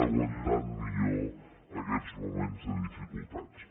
aguanten millor aquests moments de dificultats